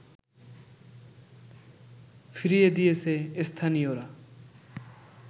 ফিরিয়ে দিয়েছে স্থানীয়রা